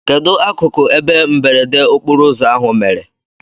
Kedụ akụkụ ebe mberede okporoụzọ ahụ mere?